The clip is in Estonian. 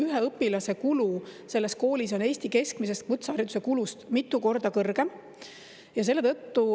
Ühe õpilase kulu selles koolis on Eesti keskmisest kutsehariduse kulust mitu korda kõrgem.